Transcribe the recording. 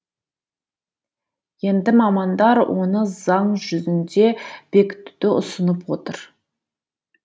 енді мамандар оны заң жүзінде бекітуді ұсынып отыр